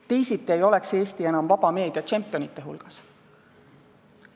Teisiti ei oleks Eesti enam vaba meedia tšempionide hulgas.